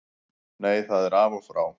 Nei það er af og frá.